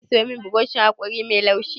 Za ki sayo min burushin haƙori mai laushi?